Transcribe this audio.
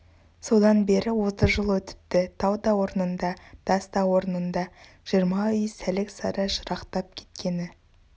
содан бері отыз жыл өтіпті тау да орнында тас та орнында жиырма үй сәлік-сары жырақтап кеткені